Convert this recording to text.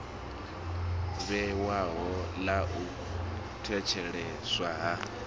vhewaho ḽa u thetsheleswa ha